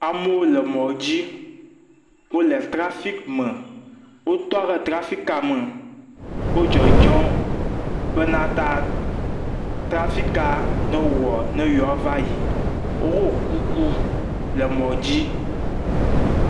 Amewo le mɔ dzi. Wo le teafik me. Wotɔ ɖe trsfik me. Wodzɔdzɔm bena ta trafika newɔ ne yewoava yi. Woɖo kuku le mɔ dzi.